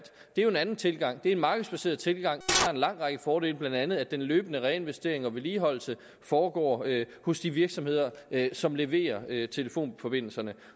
jo er en anden tilgang det er en markedsbaseret tilgang lang række fordele blandt andet at den løbende reinvestering og vedligeholdelse foregår hos de virksomheder som leverer telefonforbindelserne